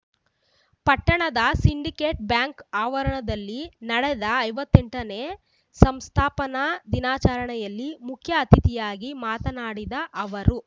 ಪಟ್ಟಣದ Syndicate Bank ಆವರಣದಲ್ಲಿ ನಡೆದ ಐವತ್ತೆಂಟನೇ ಸಂಸ್ಥಾಪನಾ ದಿನಾಚರಣೆಯಲ್ಲಿ ಮುಖ್ಯ ಅತಿಥಿಯಾಗಿ ಮಾತನಾಡಿದ ಅವರು